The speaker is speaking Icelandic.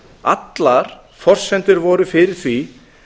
allar forsendur voru fyrir því